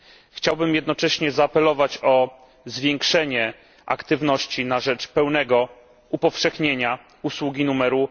Chciałbym jednocześnie zaapelować o zwiększenie aktywności na rzecz pełnego upowszechnienia usługi numeru